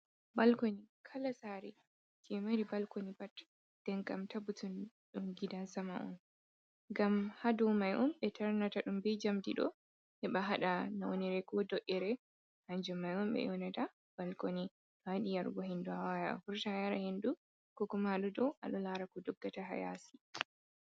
Balkoni kala sareji mari balkoni pat nden kam tabbutun ɗum gidan sama on. Ngam ha dou mai on ɓe tarnata ɗum bei njamdi ɗo heɓa haɗa naunire ko do’ere kanjum mai on ɓe yoonata balkoni. To ayiɗi yarugo hendu awawan avurta a yara hendu ko kuma aɗo dou lara ko doggata ha yasi.